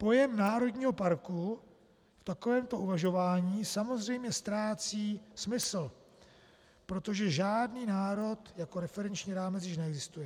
Pojem "národního" parku v takovémto uvažování samozřejmě ztrácí smysl, protože žádný národ jako referenční rámec již neexistuje.